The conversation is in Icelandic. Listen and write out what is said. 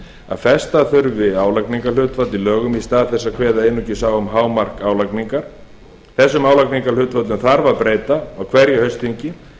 að festa þurfti álagningarhlutfall í lögum í stað þess að kveða einungis á um hámark álagningar þessum álagningarhlutföllum þarf að breyta á hverju haustþingi